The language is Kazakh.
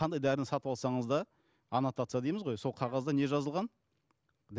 қандай дәріні сатып алсаңыз да аннотация дейміз ғой сол қағазда не жазылған